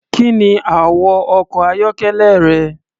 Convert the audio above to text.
Kí ni àwọ̀ ọkọ̀-ayọ́kẹ́lẹ́ rẹ?